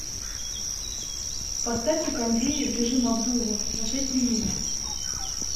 поставь на кондее в режим обдува на шесть минут